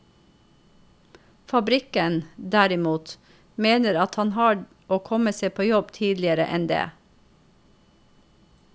Fabrikken, derimot, mener at han har å komme seg på jobb tidligere enn det.